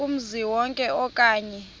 kumzi wonke okanye